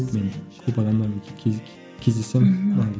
мен көп адамдармен кездесемін мхм